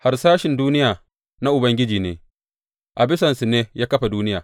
Harsashin duniya na Ubangiji ne; a bisansu ne ya kafa duniya.